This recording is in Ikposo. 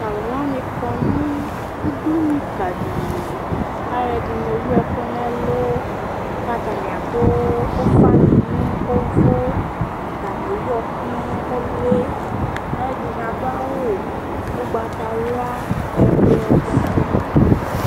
to alowani kɔ no udunu ka di li k'aloɛdini ewu ɛkò n'ɛlu k'atani ado ufa ni no uvò atani ewu ɛkò no uli aloɛdini ado awu ugbata wla ublɔ ɔvɛ